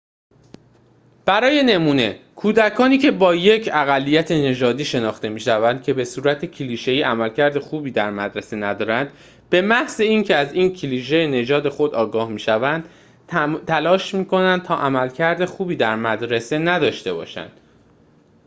برای نمونه کودکانی که با یک اقلیت‌نژادی شناخته می‌شوند که به‌صورت کلیشه‌ای عملکرد خوبی در مدرسه ندارد به‌محض اینکه از این کلیشه نژاد خود آگاه می‌شوند تلاش می‌کنند تا عملکرد خوبی در مدرسه نداشته باشند